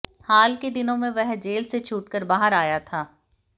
हाल के दिनों में वह जेल से छूटकर बाहर आया था